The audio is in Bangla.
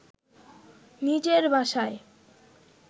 নিজের বাসায়